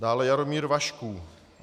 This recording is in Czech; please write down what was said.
Dále Jaromír Vašků.